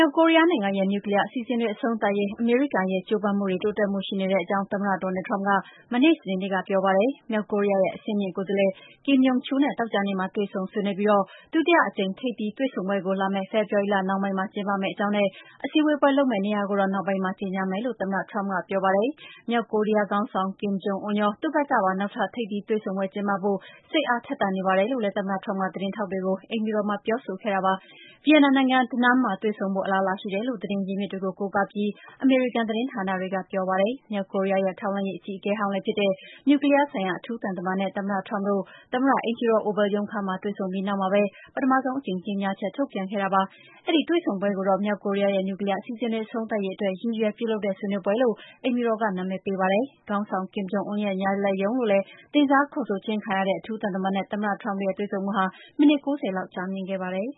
ောက်ကိုရီးယားနိုင်ငံရဲ့ နြူကလီးယားအစီအစဉ်တွေ အဆုံးသတ်ရေး အမေရိကန်ရဲ့ ကြိုးပမ်းမှုတွေ တိုးတက်မှုတွေရှိနေတဲ့အကြောင်း သမ္မတ Donald Trump က မနေ့ စနေနေ့ကပြောပါတယ်။ မြောက်ကိုရီးယားရဲ့ အဆင့်မြင့်ကိုယ်စားလှယ် Kim Yong Chol နဲ့ သောကြာနေ့မှာ တွေ့ ဆုံဆွေးနွေးပြီး ဒုတိယ အကြိမ် ထိပ်သီးတွေ့ဆုံပွဲကို လာမယ့် ဖေဖော်ဝါရီလ နှောင်းပိုင်း မှာ ကျင်းပမယ့်အကြောင်းနဲ့ စည်းဝေးပွဲလုပ်မယ့်နေရာကိုတော့ နောက်ပိုင်းမှာ ကြေငြာ မယ် လို့ သမ္မတ Trump က ဆိုပါတယ်။ Kim Jong Un ရော သူ့ဘက်ကပါ နောက်ထပ် ထိပ်သီးတွေဆုံပွဲ ကျင်းပဖို့ စိတ်အားထက်သန်နေပါတယ်လို့လည်း သမ္မတ Trump ကသတင်းထောက်တွေကို အိမ်ဖြူတော်မှာ ပြောဆိုခဲ့ပါတယ်။ ဗီယက်နမ်နိုင်ငံ၊ Danang မြို့မှာတွေ့ဆုံဖို့ အလားအလာရှိတယ်လို့ သတင်း ရင်းမြစ်တွေ ကို ကိုးကားပြီး အမေရိကန်သတင်းဌာနတွေက ပြောပါတယ်။ မြောက်ကိုရီးယားရဲ့ ထောက်လှမ်းရေးအကြီးအကဲဟောင်းလည်းဖြစ်တဲ့ နြူကလီးယားဆိုင်ရာ အထူးသံ တမန်နဲ့ သမ္မတ Trump တို့ သမ္မအိမ်ဖြူတော် Oval ရုံးခန်းမှာတွေ့ဆုံပြီး ပထမဆုံး ကြေငြာချက်ထုတ်ပြန်ခဲ့တာပါ။ အဲဒီတွေ့ဆုံပွဲကိုတော့ မြောက်ကိုရီးယားရဲ့ နြူကလီးယား အစီအစဉ်တွေ အဆုံးသတ်ရေးအတွက် ရည်ရွယ် ပြုလုပ်တဲ့ ဆွေးနွေးပွဲလို့ အိမ်ဖြူတော်က နာမည်ပေးပါတယ်။ ခေါင်းဆောင် Kim Jong Un ရဲ့ ညာလက်ရုံးလို့လည်း တင်စား ခေါ်ဆိုခြင်းခံရတဲ့ အထူး သံတမန်နဲ့ သမ္မတ Trump တို့ရဲ့ တွေ့ဆုံမှုဟာ မိနစ် ၉၀ လောက် ကြာမြင့်ခဲ့ပါ တယ်